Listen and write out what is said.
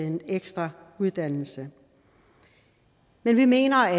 en ekstra uddannelse men vi mener at